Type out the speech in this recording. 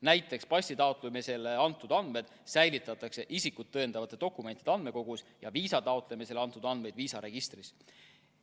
Näiteks passi taotlemisel antud andmed säilitatakse isikut tõendavate dokumentide andmekogus ja viisa taotlemisel antud andmeid viisaregistris.